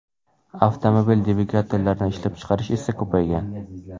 Avtomobil dvigatellarini ishlab chiqarish esa ko‘paygan.